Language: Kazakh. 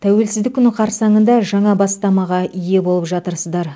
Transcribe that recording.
тәуелсіздік күні қарсаңында жаңа бастамаға ие болып жатырсыздар